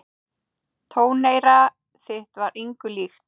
Tóneyra þitt var engu líkt.